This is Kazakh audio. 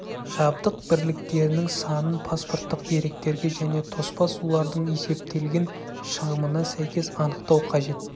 жабдық бірліктерінің санын паспорттық деректерге және тоспа сулардың есептелген шығымына сәйкес анықтау қажет